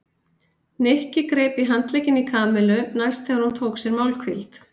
Nikki greip í handlegginn í Kamillu næst þegar hún tók sér málhvíld.